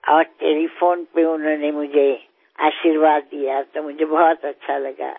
અને ટેલિફોન પર તેમણે મને આશીર્વાદ આપ્યા તો મને ઘણું સારું લાગ્યું